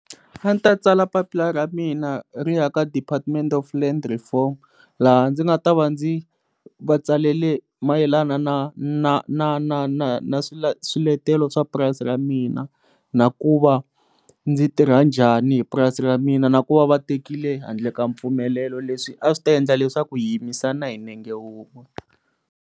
A ndzi ta tsala papila ra mina ri ya ka department of land reform laha ndzi nga ta va ndzi va tsalele mayelana na na na na na na swiletelo swa purasi ra mina na ku va ndzi tirha njhani hi purasi ra mina na ku va va tekile handle ka mpfumelelo leswi a swi ta endla leswaku hi yimisana hi nenge un'we.